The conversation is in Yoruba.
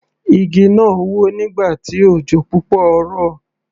Igi náà wó nígbà tí òjò púpọ̀ rọ̀.